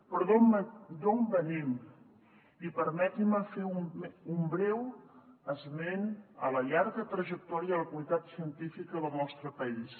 però d’on venim i permetin me fer un breu esment a la llarga trajectòria de la comunitat científica del nostre país